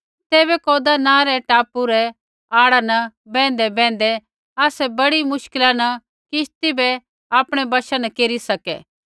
तैबै कौदा नाँ रै टापू रै ओल्है न बैंहदैबैंहदै आसै बड़ी मुश्किला न किश्ती बै आपणै वशा न केरी सकै